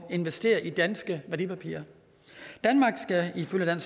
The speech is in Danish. investere i danske værdipapirer danmark skal ifølge